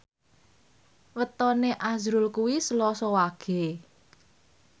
wetone azrul kuwi Selasa Wage